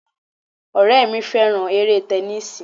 Ọ̀rẹ́ mi fẹ́ràn eré tẹnísíì